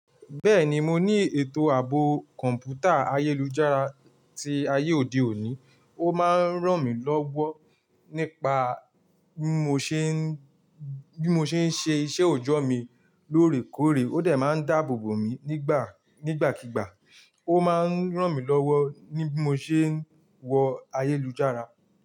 Bẹ́ẹ̀ni, mo ní ètò ààbò kọ̀ǹpútà ayélujára tí ayé òde òní, ó máa ń ràn mí lọ́wọ́ nípa bí mo ṣe ń, bí mo ṣe ń ṣe iṣẹ́ òjọ́ mi lóòrèkóòrè, ó de máa ń dáàbòbò mi nígbà, nígbàkígbà, ó máa ń ràn mí lọ́wọ́ ní bí mo ṣe ń wọ ayélujára.